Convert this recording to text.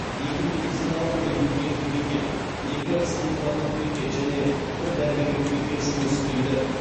екі медициналық медбикелік бекет екі санитарлық бекет және бір дәрігерлік бекет жұмыс істейді